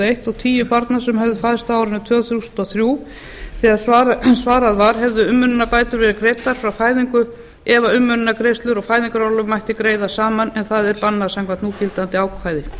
eins og tíu barna sem höfðu fæðst á árinu tvö þúsund og þrjú þegar svarað var hefðu umönnunarbætur verið greiddar frá fæðingu ef umönnunargreiðslur og fæðingarorlof mætti greiða saman en það er bannað samkvæmt núgildandi ákvæði